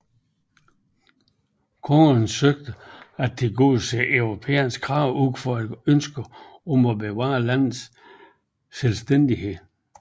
Kongerne søgte at tilgodese europæernes krav ud fra et ønske om at bevare landets selvstændighed